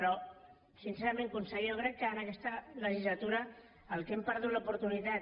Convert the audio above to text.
però sincerament conseller jo crec que en aquesta legislatura del que hem perdut l’oportunitat